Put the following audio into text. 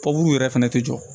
yɛrɛ fɛnɛ tɛ jɔ